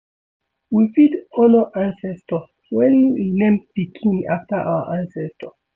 We fit honor ancestor when we name pikin after our ancestor